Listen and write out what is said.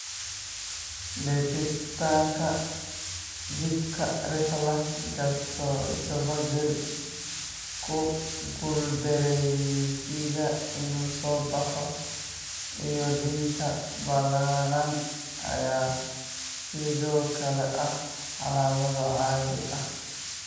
Liqitaanka dhibka, reflux gastroesophageal, ku guuldareysiga inuu soo baxo, iyo daadinta ballaaran ayaa sidoo kale ah calaamado caadi ah.